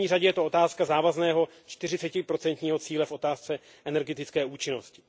V první řadě je to otázka závazného čtyřicetiprocentního cíle v otázce energetické účinnosti.